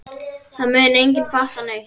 Það mun enginn fatta neitt.